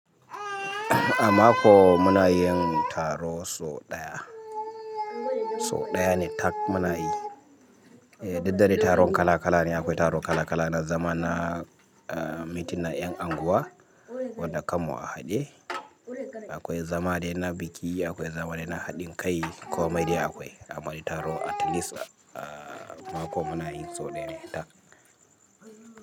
A mako muna yin taro so ɗaya. So ɗaya ne tak muna yi. Duk dade taron kala kala ne. Akwai taro kala kala na zama na, ah, mitin na ƴan unguwa wanda kammu a haɗe. Akwai zamadai na biki, akwai zamadai na haɗin kai, komai dai akwai. Amma dai taro at least, ah, mako muna yin so ɗaya ne tak.